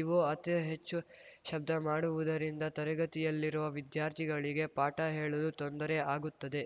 ಇವು ಅತಿ ಹೆಚ್ಚು ಶಬ್ಧ ಮಾಡುವುದರಿಂದ ತರಗತಿಯಲ್ಲಿರುವ ವಿದ್ಯಾರ್ಥಿಗಳಿಗೆ ಪಾಠ ಕೇಳಲು ತೊಂದರೆ ಆಗುತ್ತದೆ